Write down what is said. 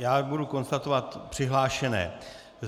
Já budu konstatovat přihlášené.